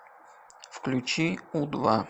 включи у два